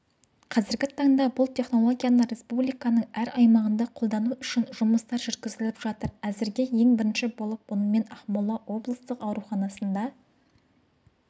қазіргі таңда бұл технологияны республиканың әр аймағында қолдану үшін жұмыстар жүргізіліп жатыр әзірге ең бірінші болып онымен ақмола облыстық ауруханасында